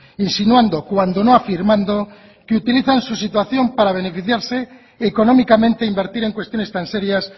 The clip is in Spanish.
insinuando cuando no afirmando que utilizan su situación para beneficiarse económicamente invertir en cuestiones tan serias